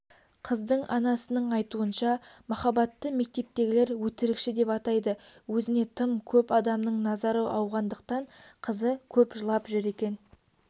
қыздың анасының айтуынша махаббатты мектептегілер өтірікші деп атайды өзіне тым көп адамның назары ауғандықтан қызы көп жылап жүр екен